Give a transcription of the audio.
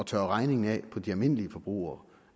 tørret regningen af på de almindelige forbrugere